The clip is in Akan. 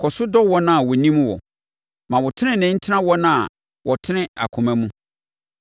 Kɔ so dɔ wɔn a wɔnim wo, ma wo tenenee ntena wɔn a wɔtene akoma mu.